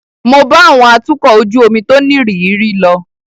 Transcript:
Mo bá àwọn atukọ̀ ojú omi tó nírìírí lọ.